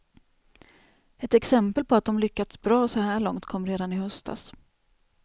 Ett exempel på att de lyckats bra så här långt kom redan i höstas.